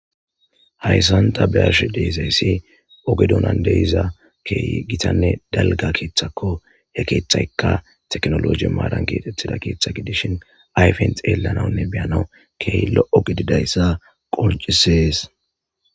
Hayssanta byarsh deezayssi ogedonan de iza keeyi gitanne dalga keeththako ya keeththaykka teknoloji maaran keexettida keeththa gidishin ayfent yeelanaunne beyanau keeyi lo'o gididayssa qolcisees.